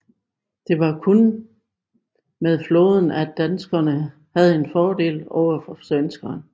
Det var kun med flåden at Danmark havde en fordel overfor svenskerne